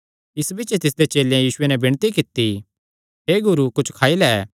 इस बिच्च तिसदे चेलेयां यीशुये नैं एह़ विणती कित्ती हे गुरू कुच्छ खाई लै